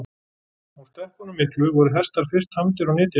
Á steppunum miklu voru hestar fyrst tamdir og nytjaðir.